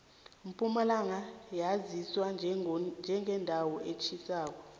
impumalanga yaziwa njengendawo etjhisako